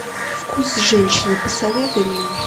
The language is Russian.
вкус женщины посоветуй мне